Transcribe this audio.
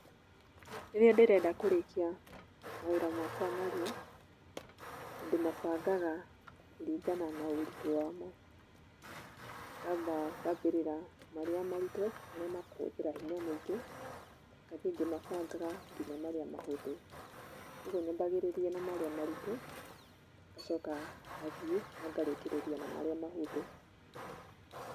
Rĩrĩa ndĩrenda kũrĩkia mawĩra makwa narua, ndĩmabangaga kũringana na ũritũ wamo, ngamba ngambĩrĩra marĩa maritũ, marĩa makũhũthĩra hinya mũingĩ, ngathiĩ ngĩmabangaga nginya marĩa mahũthũ. Koguo nyambagĩrĩria na marĩa maritũ, ngacoka ngathiĩ na ngarĩkĩrĩria na marĩa mahũthũ.